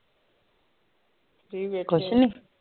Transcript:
free ਬੈਠੀ ਆ